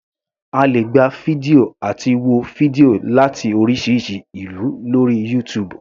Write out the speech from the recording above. A lè gba fídíò àti wo fídíò láti oríṣiríṣi ìlú lórí YouTube.